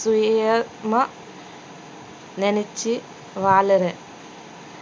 சுயமா நெனைச்சு வாழறேன்